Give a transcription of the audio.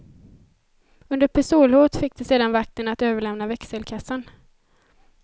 Under pistolhot fick de sedan vakten att överlämna växelkassan.